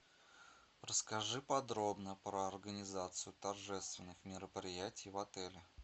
расскажи подробно про организацию торжественных мероприятий в отеле